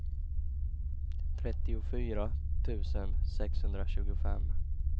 trettiofyra tusen sexhundratjugofem